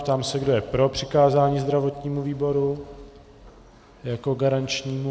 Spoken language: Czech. Ptám se, kdo je pro přikázání zdravotnímu výboru jako garančnímu.